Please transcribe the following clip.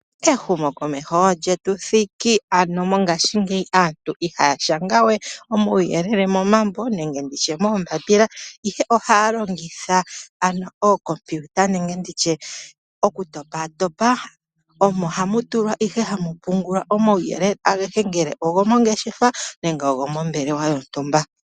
Ehumo komeho lyetu thiki, ano mongashingeyi aantu ihaya shanga we omauyelele momambo nenge nditye moombapila ihe ohaya longitha ano oocomputer nenge nditye oku topatopa omo hamu tulwa ano hamu pungulwa omauyelele ageshe ngele ogo mongeshefa nenge gomombelewa yontumba.